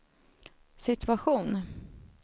situation